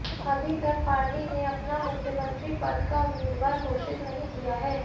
अभी तक पार्टी ने अपना मुख्यमंत्री पद का उम्मीदवार घोषित नहीं किया है